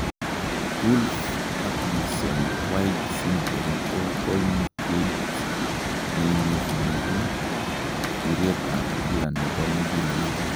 Wolff Parkinson White syndrome ko koimuteit neimirmie biretab kila nebo muguleldo